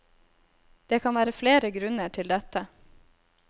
Det kan være flere grunner til dette.